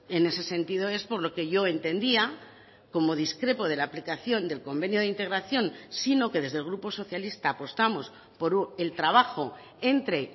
en ese sentido es por lo que yo he entendía como discrepo de la aplicación del convenio de integración sino que desde el grupo socialista apostamos por el trabajo entre